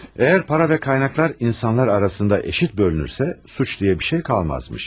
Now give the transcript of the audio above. Əgər pul və qaynaqlar insanlar arasında bərabər bölünürsə, cinayət deyilən bir şey qalmazmış.